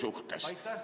Aitäh!